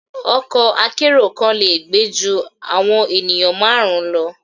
Ọkọ akẹ́ro kan le gbe ju awọn enìyan marun lọ